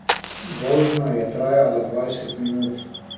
Vožnja je trajala dvajset minut.